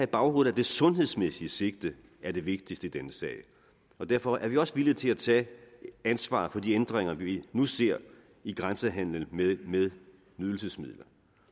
baghovedet at det sundhedsmæssige sigte er det vigtigste i denne sag og derfor er vi også villige til at tage et ansvar for de ændringer vi nu ser i grænsehandelen med nydelsesmidler